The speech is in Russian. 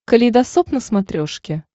калейдосоп на смотрешке